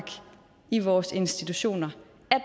i vores institutioner